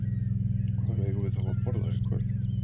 Hvað eigum við þá að borða í kvöld?